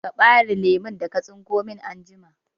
Ka ɓare lemun da ka tsinko min anjima!